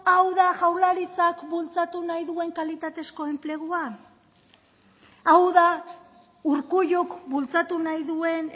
hau da jaurlaritzak bultzatu nahi duen kalitatezko enplegua hau da urkulluk bultzatu nahi duen